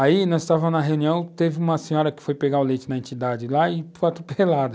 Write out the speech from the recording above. Aí, nós estávamos na reunião, teve uma senhora que foi pegar o leite na entidade lá e foi atropelada.